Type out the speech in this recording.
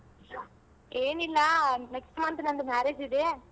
ಏನಿಲ್ಲ next month ನಂದು marriage ಇದೆ.